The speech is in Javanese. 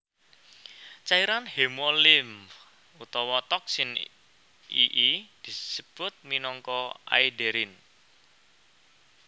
Cairan hemolimf utawa toksin ii disebut minangka aederin